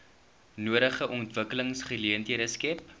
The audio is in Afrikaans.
nodige ontwikkelingsgeleenthede skep